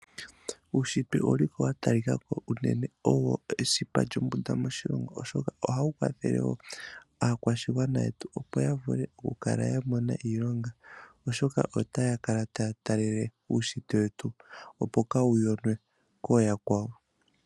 Uushitwe owu li ko wa talika ko unene owo esipa lyombunda moshilongo, oshoka ohawu kwathele wo aakwashigwana yetu opo ya vule okukala ya mona iilonga, oshoka otaya taya talele uushitwe wetu, opo kaa wu yonwe po kooyakwawo.